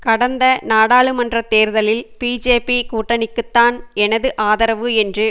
கடந்த நாடாளுமன்ற தேர்தலில் பிஜேபி கூட்டணிக்குதான் எனது ஆதரவு என்று